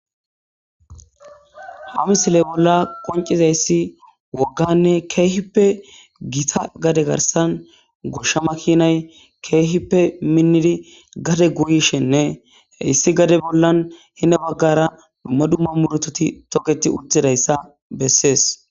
Ha misiley bolla qonciza issi wogganne keehippe gita gade garsan goshsha makinay keehippe minnidi gade guuyishenne hissi gade bollan hine baggara dumma dumma muretoti toketi uttidayssa bessees